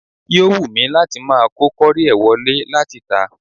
Yò wù mí láti máa kó kọ́ríẹ̀ wọ lé láti tà.